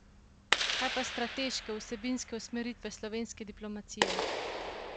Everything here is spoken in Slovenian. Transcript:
Kaj pa strateške, vsebinske usmeritve slovenske diplomacije?